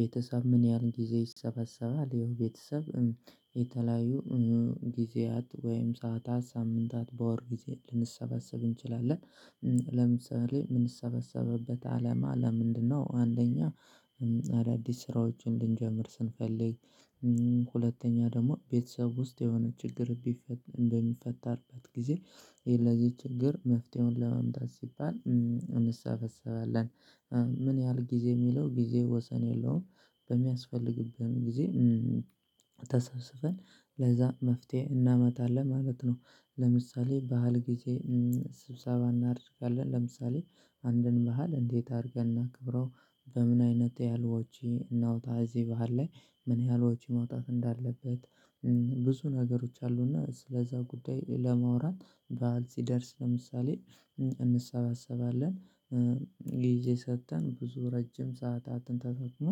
ቤተሰብ ምን ያህል ጊዜ ይሰበሰባል? ያው ቤተሰብ የተለያዩ ጊዜያት ወይም ሰዓታት ሳምንታት በወር ግዜ ልንሰበሰብ እንችላለን። ለምሳሌ ምንሰበሰበበት አለማ ለምንድነው? አንደኛ አዳዲስ ስራዎችን እንድንጀምር ስንፈልግ ሁለተኛ ደሞ ቤተሰብ ውስጥ የሆነ ችግር ቢሚፈጠርበት ግዜ እሄ ለዚህ ችግር መፍትሄውን ለማምጣት ሲባል እንስበሰባለን። ምን ያህል ጊዜ ሚለው ግዜ ወሰን የለውም? በሚያስፈልግብን ጊዜ ተሰብስበን ለዛ መፍትሄ እናመጣለን ማለት ነው። ለምሳሌ ባህል ግዜ ስብሰባ እናደርጋለን። ለምሳሌ አንድን ባህል እንዴት አርገን እናክብረው? በምን አይነት ያህል ወጪ እናውጣ? እዚህ ባህል ላይ ምን ያህል ወጪ መውጣት እንዳለበት? ብዙ ነገሮች አሉና ስለዛ ጉዳይ ለማውራት ባዓል ሲደርስ ለምሳሌ እንሰባሰባለን። ጊዜ ሰተን ብዙ ረጅም ሰዓታትን ተጠቅሞ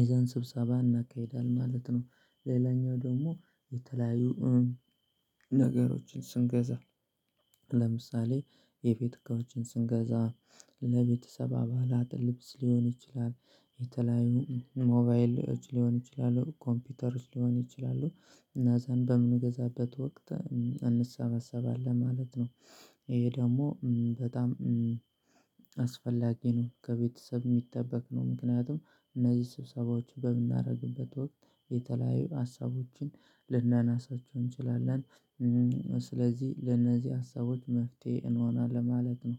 ይዘን ስብሰባ እናካሂዳለን ማለት ነው። ሌላኛው ደሞ የተለያዩ ነገሮችን ስንገዛ ለምሳሌ የቤት እቃዎችን ስንገዛ ለቤተሰብ አባላት ልብስ ሊሆን ይችላል። የተለያዩ ሞባይሎች ሊሆን ይችላሉ ኮምፒውተሮች ሊሆን ይችላሉ። እና ዘንድ በምንገዛበት ወቅት እንሰበስባለን ማለት ነው። እኤ ደሞ በጣም አስፈላጊ ነው ከቤተሰብ ሚጠበቅ ነው ምክንያቱም እነዚህ ስብሰባዎች በምናረግበት ወቅት የተለያዩ ሀሳቦችን ልናናሳቸው እንችላለን። ስለዚህ ለነዚህ ሀሳቦች መፍትሄ እንሆናለን ማለት ነው